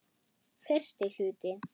Fyrsti hluti